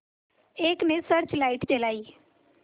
एक ने search light जलाई